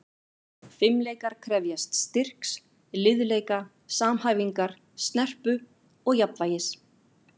Fimleikar krefjast styrks, liðleika, samhæfingar, snerpu og jafnvægis.